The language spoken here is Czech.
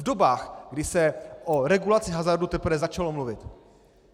V dobách, kdy se o regulaci hazardu teprve začalo mluvit.